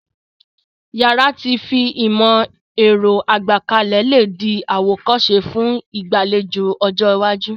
Yàrá ti fi ìmó-èro gbékalẹ̀ le dí àwòkóse fun ìgbàlejò ọjọ́ iwájú